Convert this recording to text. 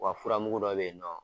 Wa fura mugu dɔ bɛ ye nɔ.